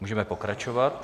Můžeme pokračovat.